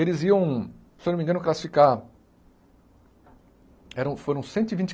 Eles iam, se eu não me engano, classificar... Eram foram cento e vinte